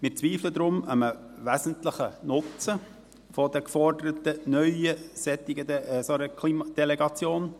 Wir zweifeln deshalb an einem wesentlichen Nutzen dieser geforderten neuen Klimadelegation.